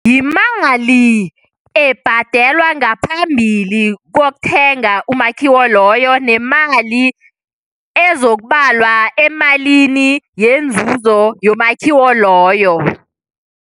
Yimali ebhadelwa ngaphambili kokuthenga umakhiwo loyo nemali ezokubalwa emalini yenzuzo yomakhiwo loyo.